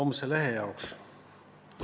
Kohe homse lehe jaoks!